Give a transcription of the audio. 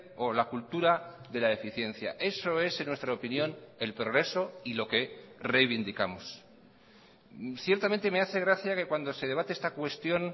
o la cultura de la eficiencia eso es en nuestra opinión el progreso y lo que reivindicamos ciertamente me hace gracia que cuando se debate esta cuestión